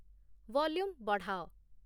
volume ବଢ଼ାଅ